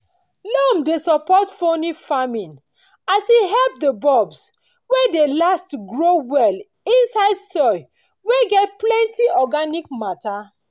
loam dey support peony farming as e help di bulbs wey dey last grow well inside soil wey get plenty organic matter.